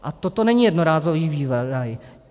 A toto není jednorázový vývoj.